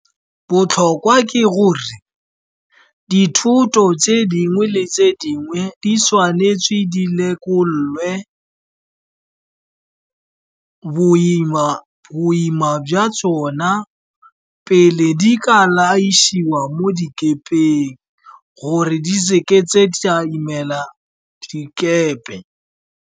Botlhokwa ke gore dithoto tse dingwe le tse dingwe di tshwanetswe di lekolwe boima jwa tsona pele di ka laišiwa mo dikepeng, gore di seke tsa imela dikepe.